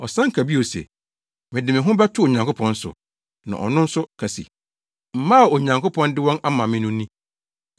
Ɔsan ka bio se, “Mede me ho bɛto Onyankopɔn so.” Na ɔno nso ka se, “Mma a Onyankopɔn de wɔn ama me no ni.”